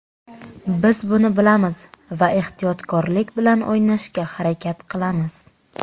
Biz buni bilamiz va ehtiyotkorlik bilan o‘ynashga harakat qilamiz.